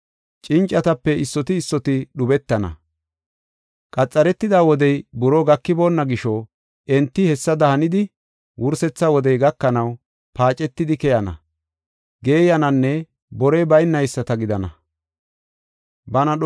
Cincatape issoti issoti dhubetana. Qametida wodey buroo gakiboonna gisho, enti hessada hanidi, wursetha wodey gakanaw, paacetidi keyana, geeyananne borey baynayisata gidana.”